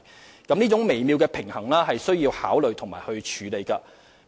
要達致這種微妙平衡，我們需加以考慮和處理。